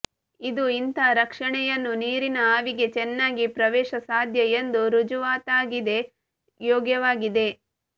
ಇದು ಇಂತಹ ರಕ್ಷಣೆಯನ್ನು ನೀರಿನ ಆವಿಗೆ ಚೆನ್ನಾಗಿ ಪ್ರವೇಶಸಾಧ್ಯ ಎಂದು ರುಜುವಾತಾಗಿದೆ ಯೋಗ್ಯವಾಗಿದೆ